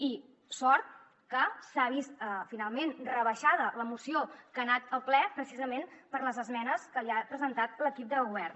i sort que s’ha vist finalment rebaixada la moció que ha anat al ple precisament per les esmenes que li ha presentat l’equip de govern